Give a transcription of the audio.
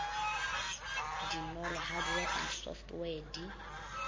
dinolo hardware and software di